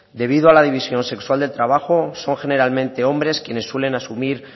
debido a la división sexual del trabajo son generalmente hombres quienes suelen asumir